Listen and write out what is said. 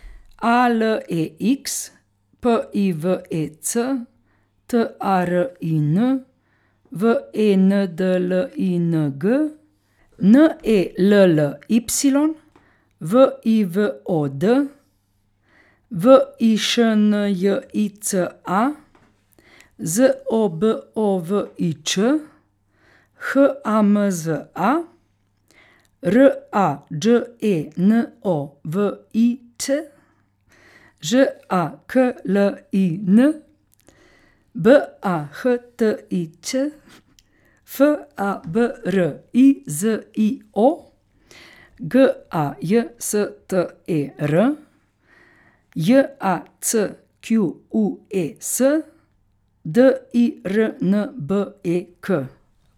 A L E X, P I V E C; T A R I N, W E N D L I N G; N E L L Y, V I V O D; V I Š N J I C A, Z O B O V I Č; H A M Z A, R A Đ E N O V I Ć; Ž A K L I N, B A H T I Ć; F A B R I Z I O, G A J S T E R; J A C Q U E S, D I R N B E K.